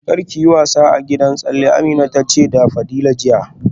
Kar ki yi wasa a gidan tsalle, Amina ta ce da Fadila jiya